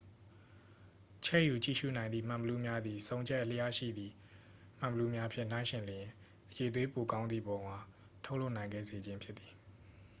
ချဲ့ယူကြည့်ရူနိုင်သည့် မှန်ဘီလူးများသည် ဆုံချက်အလျားရှိသည့် မှန်ဘီလူးများဖြင့် နှိုင်းယှဉ်လျှင် အရည်အသွေးပိုကောင်းသည့်ပုံအား ထုတ်လုပ်နိုင်စေခဲ့ခြင်းဖြစ်သည်